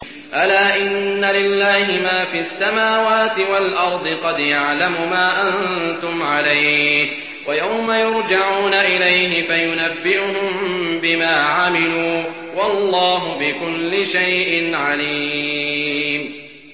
أَلَا إِنَّ لِلَّهِ مَا فِي السَّمَاوَاتِ وَالْأَرْضِ ۖ قَدْ يَعْلَمُ مَا أَنتُمْ عَلَيْهِ وَيَوْمَ يُرْجَعُونَ إِلَيْهِ فَيُنَبِّئُهُم بِمَا عَمِلُوا ۗ وَاللَّهُ بِكُلِّ شَيْءٍ عَلِيمٌ